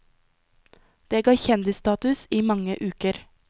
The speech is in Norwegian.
Det ga kjendisstatus i mange uker.